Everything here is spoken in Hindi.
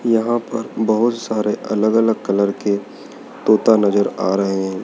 यहां पर बहोत सारे अलग अलग कलर के तोता नजर आ रहे हैं।